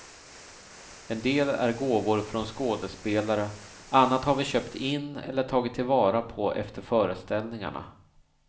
En del är gåvor från skådespelare, annat har vi köpt in eller tagit till vara på efter föreställningarna.